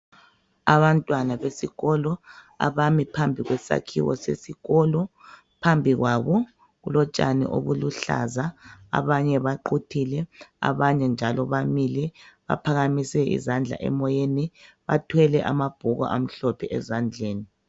Abantwana besikolo abami phambi kwesakhiwo sesikolo. Phambi kwabo kulotshani obuluhlaza. Abanye baquthile, abanye njalo bamile baphakamise izandla emoyeni bathwele ababhuku amhlophe ezandleni.